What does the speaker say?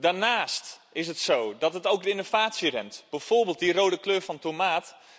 Daarnaast is het zo dat het ook de innovatie remt, bijvoorbeeld die rode kleur van tomaat.